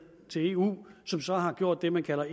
til eu som så har gjort det man kalder